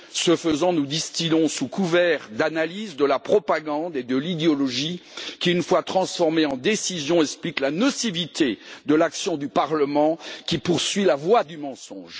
Ce faisant, nous distillons, sous couvert d'analyses, de la propagande et de l'idéologie qui, une fois transformées en décisions, expliquent la nocivité de l'action du Parlement qui poursuit la voie du mensonge.